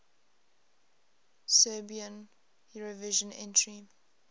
serbian eurovision entry